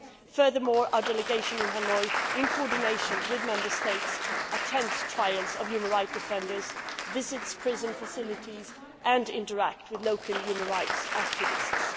Furthermore, our Delegation in Hanoi, in coordination with Member States, attends trials of human rights defenders, visits prison facilities and interacts with local human rights activists.